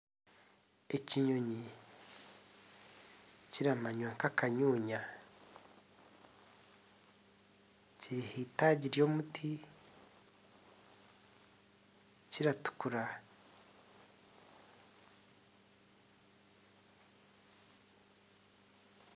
Ekinyonyi kiramanywa nk'akanyunya kiri ahaitagi ry'omuti, kiratukura.